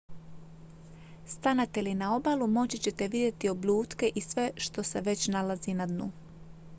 stanete li na obalu moći ćete vidjeti oblutke i sve što se već nalazi na dnu